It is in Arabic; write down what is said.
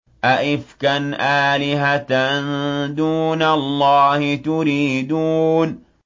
أَئِفْكًا آلِهَةً دُونَ اللَّهِ تُرِيدُونَ